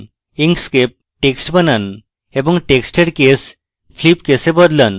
inkscape text বানান এবং টেক্সটের case flip case এ বদলান